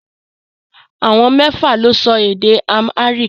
Àwọn mẹ́fà lè sọ èdè Amharic